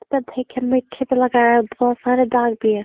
इसपे दिखिए मिट्टी भी लगाया है और बोहोत सारे दाग भी है।